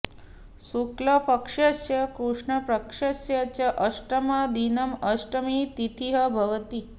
शुक्लपक्षस्य कृष्णपक्षस्य च अष्टमं दिनं अष्टमी तिथिः भवति